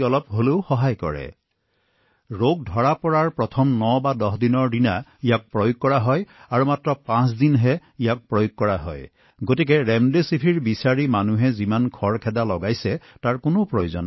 এই ঔষধটোৱেও কেতিয়া কাম কৰে যেতিয়া ইয়াক প্ৰথম ৯১০ দিনত দিয়া হয় আৰু ইয়াক পাঁচ দিনলৈ দিয়া হয় এই যে মানুহবোৰে ৰেমডেচিভিৰৰ পিছে পিছে দৌৰি আছে সেয়া কৰা আৱশ্যক নহয়